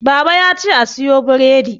baba ya ce a siyo bredi